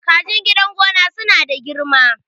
kajin gidan gona suna da girma